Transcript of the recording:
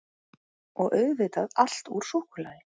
Og auðvitað allt úr súkkulaði